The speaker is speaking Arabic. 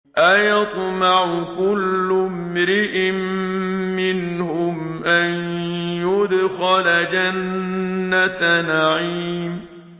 أَيَطْمَعُ كُلُّ امْرِئٍ مِّنْهُمْ أَن يُدْخَلَ جَنَّةَ نَعِيمٍ